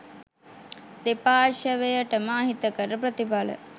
දෙපාර්ශවයටම අහිතකර ප්‍රතිඵල